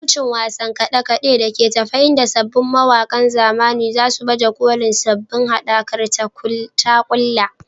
Halarci wasan kade-kade da ke tafe inda sabbin mawakan zamani za su baje kolin sabbin haɗakar tagulla.